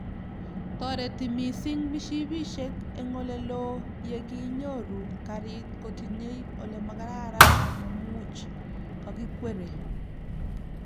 toreti mising mishipishek eng oleloo yoginyoru karit kotinye ole magararan ne muuch kakikwere